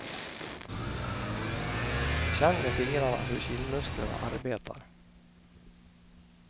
Känn med fingrarna hur kindmusklerna arbetar.